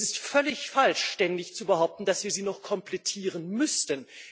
Es ist völlig falsch, ständig zu behaupten, dass wir sie noch komplettieren müssten.